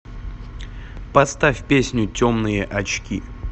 поставь песню темные очки